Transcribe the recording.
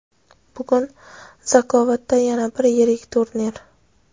Bugun Zakovatda yana bir yirik turnir!.